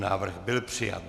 Návrh byl přijat.